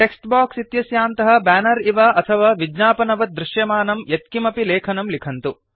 takes box इत्यस्यान्तः banner इव अथवा विज्ञापनवत् दृश्यमानं यत्किमपि लेखनं लिखन्तु